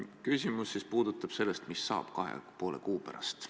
Küsimus puudutab seda, mis saab kahe ja poole kuu pärast.